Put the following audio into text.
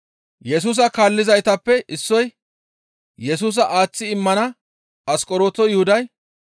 Yesusa kaallizaytappe issoy Yesusa aaththi immana Asqoronto Yuhuday,